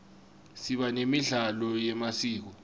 siba nemidlalo yemasiko